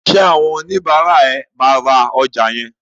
Ṣé àwọn oníbàárà ẹ máa ra ọjà yẹn?